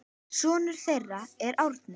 Sonur þeirra er Árni.